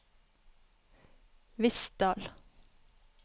Vistdal